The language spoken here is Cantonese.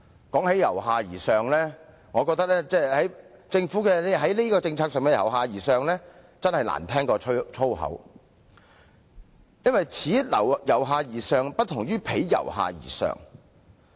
談到這方面，我覺得政府在這項政策上的所謂"由下而上"真是比粗言穢語更難聽，因為此"由下而上"不同於彼"由下而上"。